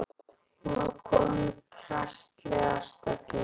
Hún var komin í prestslegar stellingar.